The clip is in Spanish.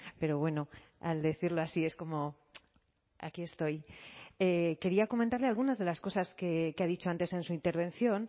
pero bueno al decirlo así es como aquí estoy quería comentarle algunas de las cosas que ha dicho antes en su intervención